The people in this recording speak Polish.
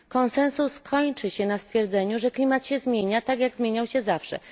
Konsensus kończy się na stwierdzeniu, że klimat się zmienia, tak jak zmieniał się zawsze.